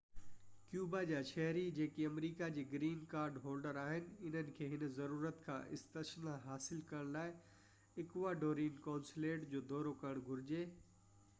Cuba جا شهري جيڪي آمريڪا جي گرين ڪارڊ هولڊر آهن انهن کي هن ضرورت کان استثنا حاصل ڪرڻ لاءِ اڪواڊورين قونصليٽ جو دورو ڪرڻ گهرجي